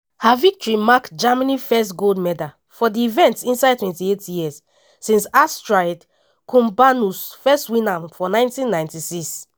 her victory mark germany first gold medal for di event inside 28 years since astrid kumbernuss first win am for 1996.